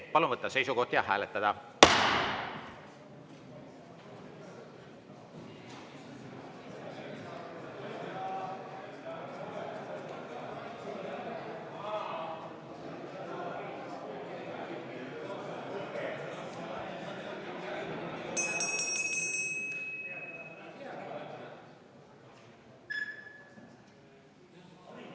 Palun võtta seisukoht ja hääletada!